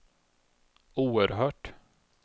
oerhört